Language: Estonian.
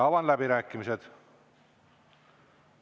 Avan läbirääkimised.